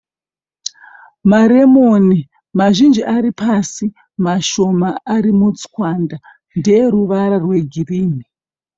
Maremoni mazhinji aripasi mashoma ari mutswanda. Nderuvara rwegirini.